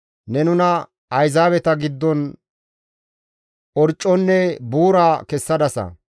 Ne nuna ayzaabeta giddon orcconne buura kessadasa.